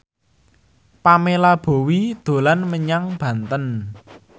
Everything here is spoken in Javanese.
Pamela Bowie dolan menyang Banten